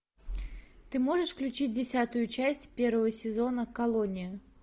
ты можешь включить десятую часть первого сезона колония